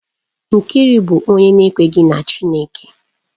Nkiru bụ onye na-ekweghị na Chineke